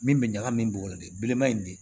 Min bɛ ɲagami bɔgɔ de belebeleba in de